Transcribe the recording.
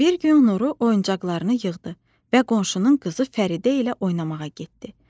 Bir gün Nuru oyuncaqlarını yığdı və qonşunun qızı Fəridə ilə oynamağa getdi.